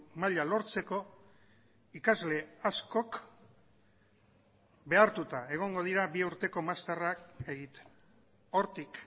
maila lortzeko ikasle askok behartuta egongo dira bi urteko masterrak egiten hortik